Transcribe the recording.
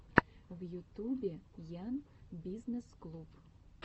в ютубе ян бизнесс клуб